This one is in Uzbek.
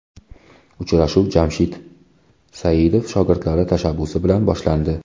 Uchrashuv Jamshid Saidov shogirdlari tashabbusi bilan boshlandi.